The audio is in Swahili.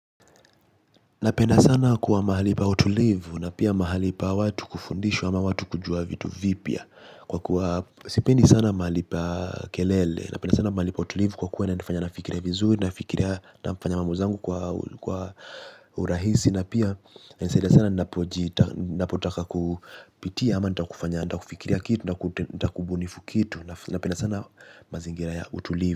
Napenda sana kuwa mahali pa utulivu na pia mahali pa watu kufundishwa ama watu kujua vitu vipya. Kwa kuwa sipendi sana mahali pa kelele. Napenda sana mahali pa utulivu kwa kuwa inanifanya nafikiria vizuri. Nafikiria nafanya mambo zangu kwa urahisi. Na pia inanisaidia sana ninapotaka kupitia ama nataka kufanya nataka kufikiria kitu nataka kubunifu kitu. Napenda sana mazingira ya utulivu.